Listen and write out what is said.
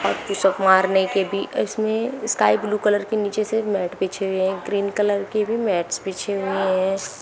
और push up मारने के भी इसमें स्काई ब्लू कलर के नीचे से मैट बिछे हुए हैं ग्रीन कलर के भी मैट बिछे हुए हैं।